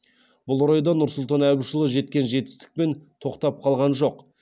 бұл орайда нұрсұлтан әбішұлы жеткен жетістікпен тоқтап қалған жоқ